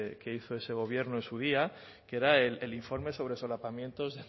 que hizo ese gobierno en su día que era el informe sobre solapamientos